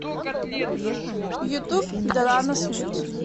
ютуб дэлано смит